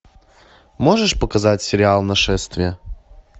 можешь показать сериал нашествие